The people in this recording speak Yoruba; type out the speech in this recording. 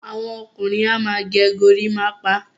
Àwọn ọkùnrin a máa gẹ́ gòrìmpa.